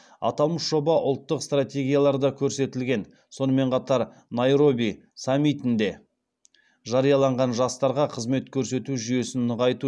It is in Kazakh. аталмыш жоба ұлттық стратегияларда көрсетілген сонымен қатар найроби саммитінде жарияланған жастарға қызмет көрсету жүйесін нығайту